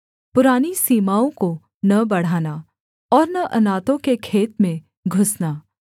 पुरानी सीमाओं को न बढ़ाना और न अनाथों के खेत में घुसना